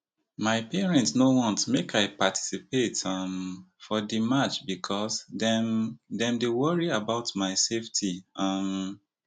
my parents no want make i participate um for di march becos dem dem dey worry about my safety um